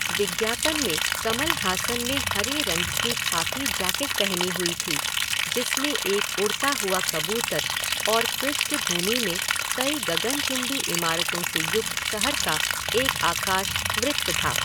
विज्ञापन में कमल हासन ने हरे रंग की खाकी जैकेट पहनी हुई थी जिसमें एक उड़ता हुआ कबूतर और पृष्ठभूमि में कई गगनचुंबी इमारतों से युक्त शहर का एक आकाश वृत्त था।